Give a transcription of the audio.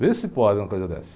Vê se pode uma coisa dessa.